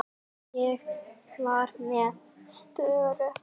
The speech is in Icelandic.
Ég var með störu.